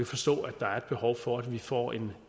forstå at der er et behov for at vi får en